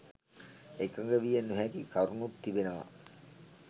එකඟ විය නොහැකි කරුණුත් තිබෙනවා.